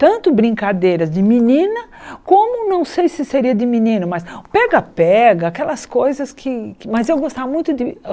Tanto brincadeiras de menina, como não sei se seria de menino, mas pega-pega, aquelas coisas que que... Mas o que eu mais gostava de